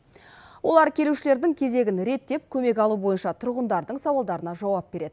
олар келушілердің кезегін реттеп көмек алу бойынша тұрғындардың сауалдарына жауап береді